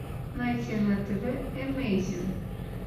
найти на тв эмейзинг